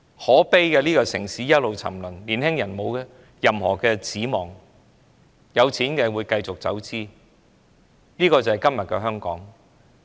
可悲的是這個城市一直沉淪，年青人沒有任何指望，有錢的便繼續當其走資派，這便是今日的香港。